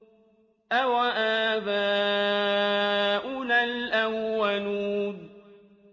أَوَآبَاؤُنَا الْأَوَّلُونَ